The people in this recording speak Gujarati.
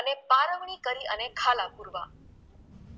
અને પારમણી કરી અને ખાલા પૂરવા